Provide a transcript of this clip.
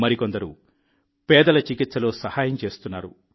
మరికొందరు పేదల చికిత్సలో సహాయం చేస్తున్నారు